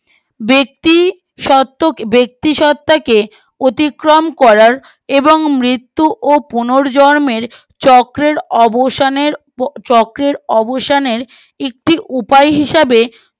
ব্যক্তি সত্য ব্যক্তি সত্তাকে অতিক্রম করার এবং মৃত্যু ও পুনর্জন্মের চক্রের অবসানের চক্রের অবসানের একটি উপায় হিসাবে